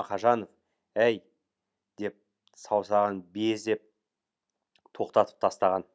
мақажанов әй деп саусағын безеп тоқтатып тастаған